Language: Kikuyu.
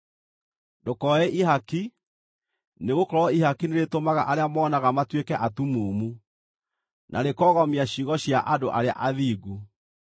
“Ndũkoe ihaki, nĩgũkorwo ihaki nĩrĩtũmaga arĩa monaga matuĩke atumumu, na rĩkoogomia ciugo cia andũ arĩa athingu.